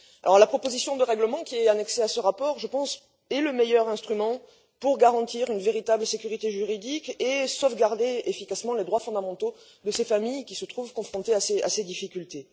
Je pense que la proposition de règlement qui est annexée à ce rapport est le meilleur instrument pour garantir une véritable sécurité juridique et sauvegarder efficacement les droits fondamentaux de ces familles, qui se trouvent confrontées à ces difficultés.